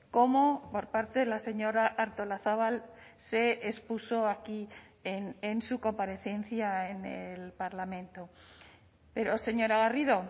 como por parte de la señora artolazabal se expuso aquí en su comparecencia en el parlamento pero señora garrido